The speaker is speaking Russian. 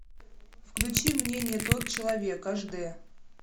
включи мне не тот человек аш дэ